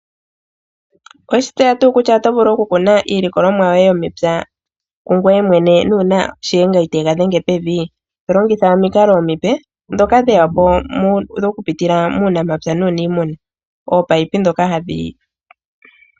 Owe shi tseya tuu kutya oto vulu okukuna iilikolomwa yoye yomepya kungoye mwene nuuna Shiyenga iteega dhenge pevi? To longitha omikalo omipe ndhoka dhe ya po okupitila muunamapya nuuniimuna. Oopaipi ndhoka hadhi longithwa okutekela.